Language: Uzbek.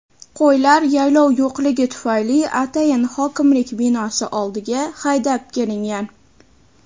qo‘ylar yaylov yo‘qligi tufayli atayin hokimlik binosi oldiga haydab kelingan.